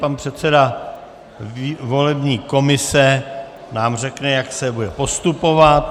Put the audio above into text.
Pan předseda volební komise nám řekne, jak se bude postupovat.